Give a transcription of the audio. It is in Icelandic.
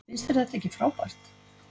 Finnst þér þetta ekki frábært?